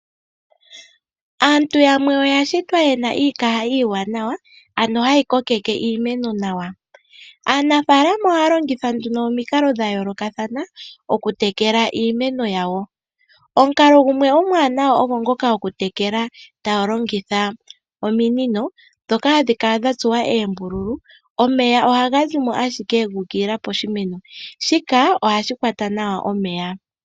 Aantu yamwe oya shitwa ye na iikaha iiwanawa ano hayi kokeke iimeno nawa. Aanafaalama ohaya longitha omikalo dha yoolokathana oku tekela iimeno yawo. Yamwe ohaya longitha ominino ndhoka hadhi kala dha tsuwa oombululu. Omeya ohaga zimo owala ga ukilila piimeno. Shika ohashi kwata nawa omeya.